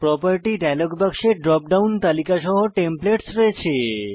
property dialog বাক্সে drop down তালিকা সহ টেমপ্লেটস রয়েছে